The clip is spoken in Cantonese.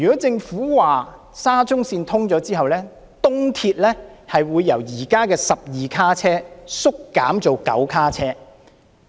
政府說沙中線通車後，東鐵會由現時的12卡車縮減至9卡車。